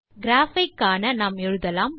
graph ஐ காண நாம் எழுதலாம்